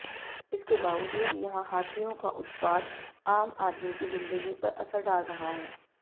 इसके बावजूद यहां हाथियों का उत्पात आम आदमी की जिंदगी पर असर डाल रहा है